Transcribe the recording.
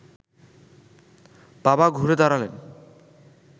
বাবা ঘুরে দাঁড়ালেন